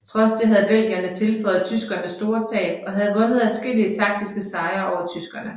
Trods det havde belgierne tilføjet tyskerne store tab og havde vundet adskillige taktiske sejre over tyskerne